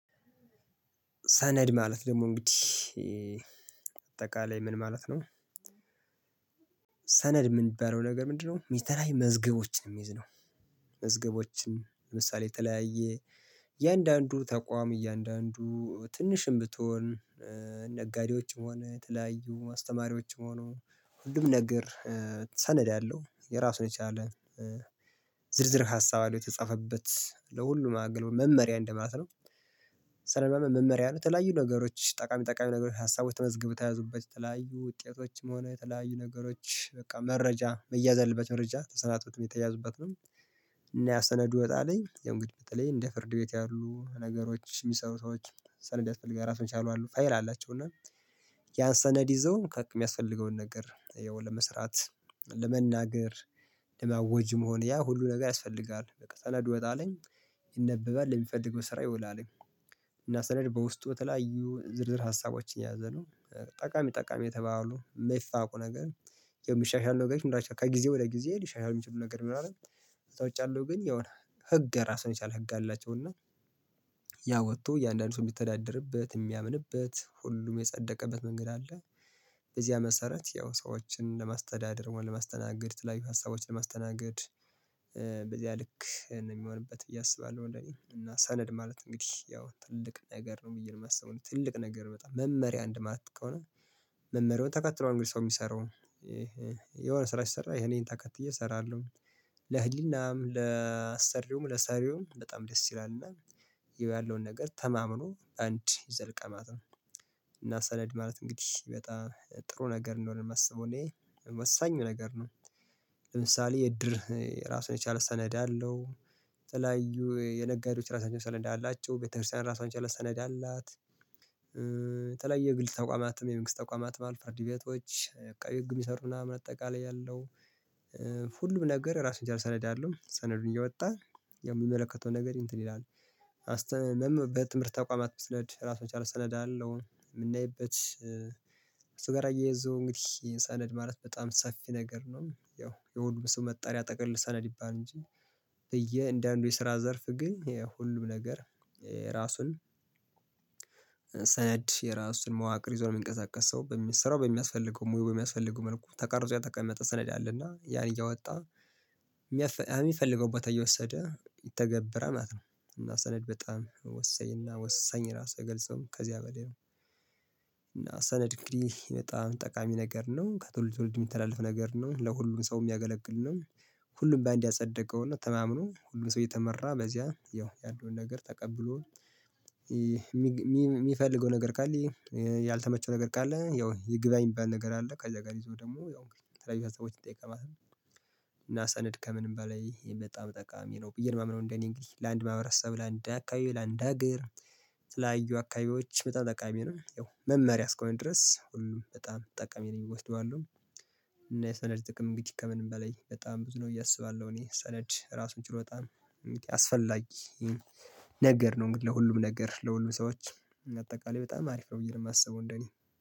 ሰነድ ማለት ደግሞ እንግዲህ አጠቃላይ ምን ማለት ነው? ሰነድ የምንበለው ነገር ምንድነው የተለያዩ መዝገቦችን የሚይዝ ነው። መዝገቦችን ለምሳሌ የተለያየ እያንዳንዱ ተቋም እያንዳንዱ ትንሽም ብትሆን ነጋዴዎችም ሆነ የተለያዩ አስተማሪዎችም ሆነ ሁሉም ነገር ሰነድ አለው። የራሱን የቻለ ዝርዝር ሀሳብ አለው የተጻፈበት ለሁሉም አገልግሎት መመሪያ እንደማለት ነው። ስለሆነ መመሪያ የተለያዩ ነገሮች ጠቃሚ ጠቃሚ ነገሮች ሀሳቦች ተመዝግበው ተያዙበት የተለያዩ ውጤቶችም ሆነ የተለያዩ ነገሮች በቃ መረጃ መያዝ ያለባቸው መረጃ ተሰናትቶትም የተያዙበት ነው። እና ያ ሰነዱ ወጣለኝ የእንግዲህ በተለይ እንደ ፍርድ ቤት ያሉ ነገሮች የሚሰሩ ሰዎች ሰነድ ያስፈልጋል። ራሱን የቻሉ አሉ። ፋይል አላቸው። እና ያን ሰነድ ይዘው ከሚያስፈልገውን ነገር ያው ለመስራት፣ ለመናገር፣ ለማወጅም ሆነ ያ ሁሉ ነገር ያስፈልጋል። በቃ ሰነዱ ይወጣልኝ፤ ይነበባል ለሚፈለገው ስራ ይውላልኝ። እና ሰነድ በውስጡ የተለያዩ ዝርዝር ሀሳቦችን የያዘ ነው። ጠቃሚ ጠቃሚ የተባሉ የማይፋቁ ነገር ያው የሚሻሻል ነገር ምንድነው ከጊዜ ወደ ጊዜ ሊሻሻል የሚችሉ ነገር ይኖራሉ ከዛ ውጭ ያለው ግን የሆነ ህግ ራሱን የቻለ ህግ አላቸው። እና ያ ወጥቶ እያንዳንዱን ሰው የሚተዳደርበት የሚያምንበት ሁሉም የጸደቀበት መንገድ አለ። በዚያ መሰረት ያው ሰዎችን ለማስተዳደር ወይም ለማስተናገድ ተለያዩ ሀሳቦችን ለማስተናገድ በዚህ ልክ ነው የሚሆንበት ብዬ አስባለሁ እኔ። እና ሰነድ ማለት እንግዲህ ያው ትልቅ ነገር ነው ብዬ ነው የማስበው። ትልቅ ነገር በጣም መመሪያ አንድ ማለት ከሆነ መመሪያውን ተከትሎ ነው እንግዲህ ሰው የሚሰራው። የሆነ ስራ ሲሰራ ይሄን ይሄን ተከትዬ እሰራለሁ። ለህሊናም ለአሰሪውም ለሰሪውም በጣም ደስ ይላል። እና ያለውን ነገር ተማምኖ አንድ ይዘልቃል ማለት ነው። እና ሰነድ ማለት እንግዲህ በጣም ጥሩ ነገር እንደሆነ ነው የማስበው እኔ። ወሳኝ ነገር ነው። ለምሳሌ የእድር ራሱን የቻለ ሰነድ አለው። የተለያዩ የነጋዴዎች ራሳቸውን ሰነዳ አላቸው። ቤተክርስቲያን ራሷን የቻለ ሰነድ አላት። የተለያየ ግል ተቋማትም የመንግስት ተቋማትም ፍርድ ቤቶች አቃቢ ህግ የሚሰሩ ምናንም አጠቃለይ ያለው ሁሉም ነገር ራሱን የቻለ ሰነድ አለው። ያው ሰነዱን እያወጣ የሚመለከተው ነገር እንትን ይላል። በትምህርት ተቋማት ብንሄድ ራሱን የቻለ ሰነድ አለው። የምናይበት ጋር አያይዞ እንግዲህ ሰነድ ማለት በጣም ሰፊ ነገር ነው። ያው የሁሉም ስሙ መጠሪያ ጥቅሉ ሰነድ ይባል እንጂ፤ በያንዳንዱ የስራ ዘርፍ ግን ሁሉም ነገር ራሱን ሰነድ የራሱን መዋቅር ይዞ ለሚንቀሳቀስ ሰው በሚሰራው በሚያስፈልገው ሙያው በሚያስፈልገው መልኩ ተቃርጾ ያተቀመጠ ሰነድ አለ። እና ያን እያወጣ የሚፈልገው ቦታ እየወሰደ ይተገበራል ማለት ነው። እና ሰነድ በጣም ወሳኝ እና ወሳኝ ራሱ አይገልጸውም። ከዚያ በላይ ነው። እና ሰነድ እንግዲህ በጣም ጠቃሚ ነገር ነው። ከትውልድ ወደ ትውልድ የሚተላለፍ ነገር ነው። ለሁሉም ሰው የሚያገለግል ነው። ሁሉም በአንድ ያጸደቀውና ተማምኖ ሁሉም ሰው እየተመራ በዚያ ያለውን ነገር ተቀብሎ የሚፈልገው ነገር ካለ ያልተመቸው ነገር ካለ ያው ይግባኝ ሚባል ነገር አለ። ከዛ ጋር ይዞ ደግሞ ያው ተለያዩ ሀሳቦችን ጠይቃል ማለት ነው። እና ሰነድ ከምንም በላይ በጣም ጠቃሚ ነው ብዬ ነው ማምነው እንደኔ እንግዲህ። ለአንድ ማህበረሰብ ለአንድ አካባቢ ለአንድ ሀገር ለተለያዩ አካባቢዎች በጣም ጠቃሚ ነው። ያው መመሪያ እስከሆነ ድረስ ሁሉም በጣም ጠቀሚ ነው ብዬ እወስዳለሁ። እና የሰነድ ጥቅም እንግዲህ ከምንም በላይ በጣም ብዙ ነው ብዬ አስባለሁ እኔ። ሰነድ ራሱ ችሎ በጣም አስፈላጊ ነገር ነው። እንግዲህ ለሁሉም ነገር ለሁሉም ሰዎች አጠቃላይ በጣም አሪፍ ነው ብዬ ነው የማስበው እንደኔ።